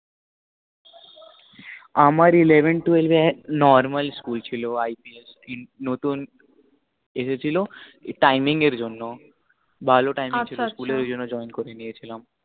আমার eleven twelve normal school ছিল I P S দিন নতুন আসে ছিল timing এর জন্য ভালো timing ছিল school এর ওই জন্য join করে নিয়েছিলাম আছা আছা